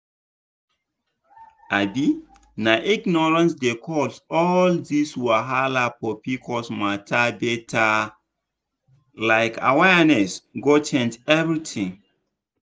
um na ignorance dey cause all this wahala for pcos matter better um awareness go change everything.